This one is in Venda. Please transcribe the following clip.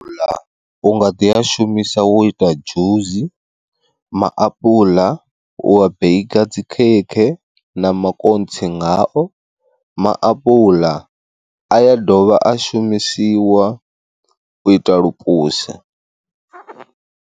U nga ḓi a shumisa wo ita dzhusi, maapuḽa u wa beikha dzi khekhe na makontsi ngao, maapuḽa a ya dovha a shumisiwa u ita lupuse.